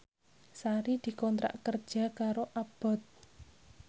Sari dikontrak kerja karo Abboth